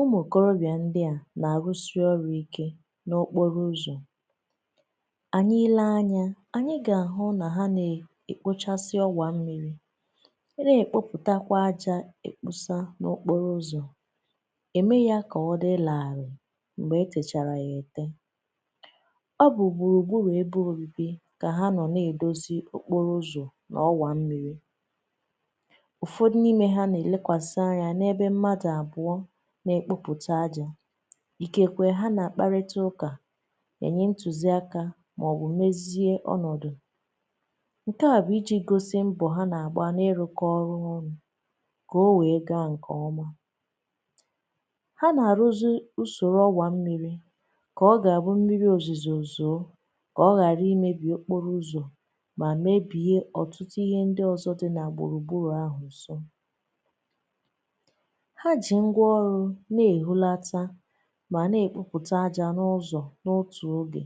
Ụmụ okorobịa ndị a na-arụsị ọrụ ike n’okporo ụzọ. Anyị lee anya, anyị ga-ahụ na ha na-ekpochasị ọgwà mmiri, si ebe dị iche iche na-èkpọpụtakwa àjà, ekpusa ya n’okporo ụzọ, mee ka ọ dị larịị mgbe e techara ya. E nwerekwa ụfọdụ mgbe, ha buru iberibe kà ha nọ n’ịdozi okporo ụzọ n’ọwà mmiri. Ikekwe, ha na-akparịta ụka, na-enyekwa ntụziaka maọbụ na-emezighị ọnọdu. Nke a bụ iji gosi mbọ ha na-agba n’ịrụkọ ọrụ ọnụ ka ihe wee gaa nke ọma. Ha na-arụzi usoro ọgwà mmiri ka ọ bụrụ mmiri ozi zọ uzọ, ka ọ ghara imebi okporo ụzọ ma mebie ọtụtụ ihe ndị ọzọ dị na gbụrụgbọrù ahụ, úsọ na e hulata, na-ekpupụta àjà n’ụzọ. N’otu oge,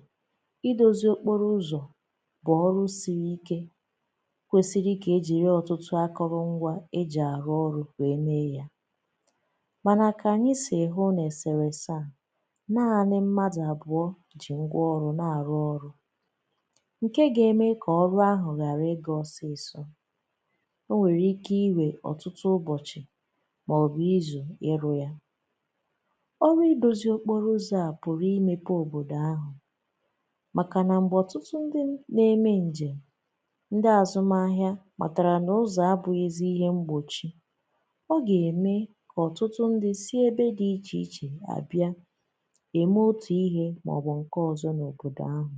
idozi okporo ụzọ bụ ọrụ siri ike nke kwesiri ike eji ọtụtụ akụrụngwa arụ ọrụ ka eme ya. Mànà, ka anyị si hụ, na-ese wese, a na-ahụ nanị mmadụ abụọ ji ngwa ọrụ na-arụ ọrụ – nke ga-eme ka ọrụ ahụ ghara ịga ọsọsọ. O nwere ike iwe ọtụtụ ụbọchi. Ụlọ ọrụ idozi okporo ụzọ a nwere ike imepe obodo ahụ, maka na mgbe ọtụtụ ndị na-eme njem, ndị azùmaahịa matara na ụzọ abụghịzi ihe mgbochi, ọ ga-eme ka ọtụtụ ndị si ebe dị iche iche abịa, mee otu ihe maọbụ nke ọzọ n’obodo ahụ.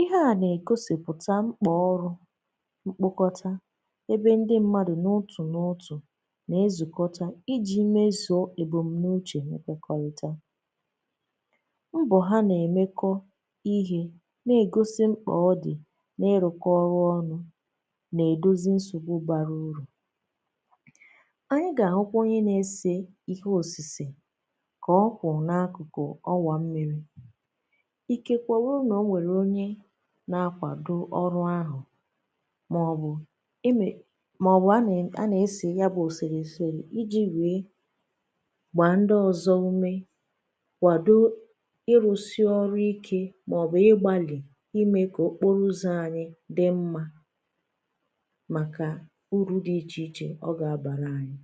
Ihe a na-egosipụta mkpọ ọrụ mkpokọta, ebe ndị mmadụ n’utu n’utu, ebe m n’uche, mekwekọrịta mbọ ha. Na-emekọ ihe na-egosi mkpa ọ dị na iru ọrụ ọnụ n’idozi nsogbu bara uru. Anyị ga-ahụkwanye na-ese ihe osise ka ọ kwụrụ n’akụkụ ọwà mmiri. Ike kwa, ọ bụrụ na o nwere onye na-akwado ọrụ ahụ maọbụ eme, maọbụ a na-ese ya bụ osise eserị gba ndị ọzọ ume kwado: ịrụsị ọrụ ike, maọbụ igbali ime ka okporo ụzọ anyị dị mma. Maka uru dị iche iche ọ ga-abara anyị.